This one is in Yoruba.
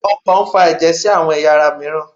okàn n fa eje sí awọn eyá ará miiran